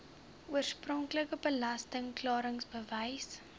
oorspronklike belasting klaringsbewys